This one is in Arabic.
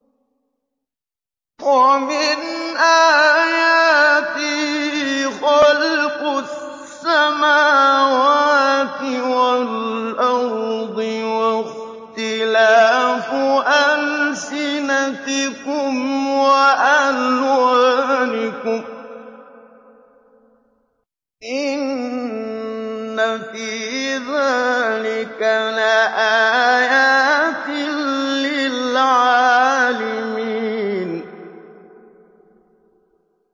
وَمِنْ آيَاتِهِ خَلْقُ السَّمَاوَاتِ وَالْأَرْضِ وَاخْتِلَافُ أَلْسِنَتِكُمْ وَأَلْوَانِكُمْ ۚ إِنَّ فِي ذَٰلِكَ لَآيَاتٍ لِّلْعَالِمِينَ